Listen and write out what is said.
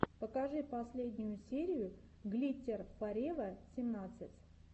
покажи последнюю серию глиттер форева семнадцать